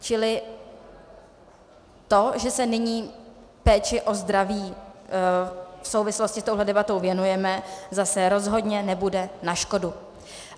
Čili to, že se nyní péči o zdraví v souvislosti s touhle debatou věnujeme, zase rozhodně nebude na škodu.